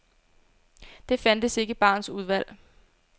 Det fandtes ikke i barens udvalg.